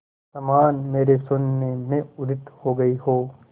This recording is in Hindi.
समान मेरे शून्य में उदित हो गई हो